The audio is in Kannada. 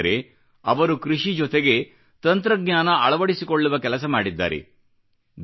ವಿಶೇಷವೆಂದರೆ ಅವರು ಕೃಷಿ ಜೊತೆಗೆ ತಂತ್ರಜ್ಞಾನ ಅಳವಡಿಸಿಕೊಳ್ಳುವ ಕೆಲಸ ಮಾಡಿದ್ದಾರೆ